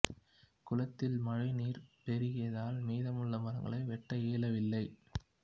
குளத்தில் மழை நீர் பெருகியதால் மீதமுள்ள மரங்களை வெட்ட இயலவில்லை